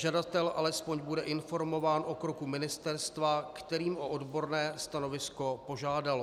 Žadatel alespoň bude informován o kroku ministerstva, které o odborné stanovisko požádalo.